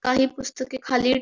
काही पुस्तके खाली --